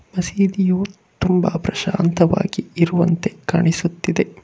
ಮಸೀದಿಯು ತುಂಬ ಪ್ರಶಾಂತವಾಗಿ ಇರುವಂತೆ ಕಾಣಿಸುತ್ತಿದೆ.